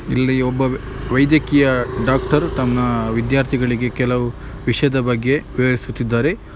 ಇಲ್ಲಿ ಒಬ್ಬ ವೈದಕೀಯ ಡಾಕ್ಟರ್ ತಮ್ಮ ವಿದ್ಯಾರ್ಥಿಗಳಿಗೆ ಕೆಲವು ವಿಷದ ಬಗ್ಗೆ ವಿವರಿಸುತ್ತಿದ್ದಾರೆ.